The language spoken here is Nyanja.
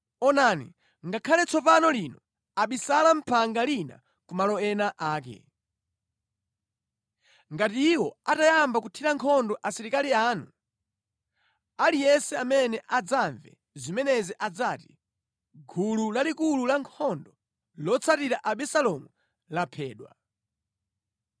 Onani, ngakhale tsopano lino abisala mʼphanga lina ku malo ena ake. Ngati iwo atayamba kuthira nkhondo asilikali anu, aliyense amene adzamve zimenezi adzati, ‘Gulu lalikulu lankhondo lotsatira Abisalomu laphedwa.’